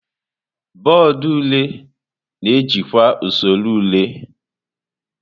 Bọọdụ ule na-ejikwa usoro ule.